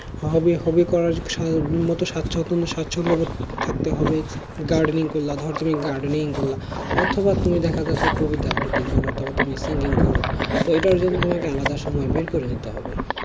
hobby hobby করার উম স্বাচ্ছন্দ~ স্বাচ্ছন্দবোধ থাকতে হবে gardening করলে ধরো তুমি gardening করলে অথবা তুমি দেখা যাচ্ছে কবিতা আবৃত্তি করো তুমি singing করো এটার জন্য তোমাকে আলাদা সময় বের করে নিতে হবে